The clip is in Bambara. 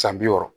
San bi wɔɔrɔ